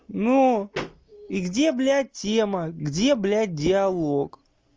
ну и где блядь тема где блядь диалог